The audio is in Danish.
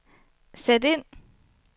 sæt ind